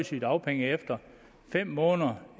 sygedagpenge efter fem måneder